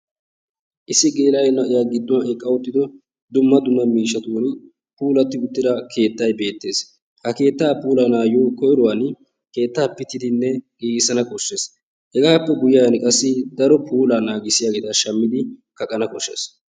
issi geela"o na"iyaa giddon eqqa uttido dumma dumma miishshatuuni puulatti uttida keettay beettees. ha keettaa puulayanayoo koyruwaan keettaa pittiddinne giigisana beessees. hegaappe guyiaani qassi daro puullaa naagisiyaabata shammidi kaqqana kooshshees.